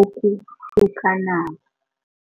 okuhlukanako.